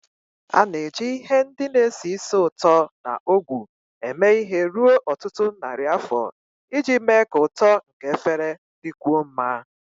A na-eji ihe ndị na-esi ísì ụtọ na ogwu eme ihe ruo ọtụtụ narị afọ iji mee ka ụtọ nke efere dịkwuo mma